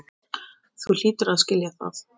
Ráð mín duga henni ekki.